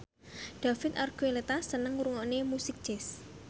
David Archuletta seneng ngrungokne musik jazz